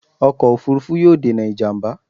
Ọkọ̀ òfuurufú yóò dènà ìjàmbá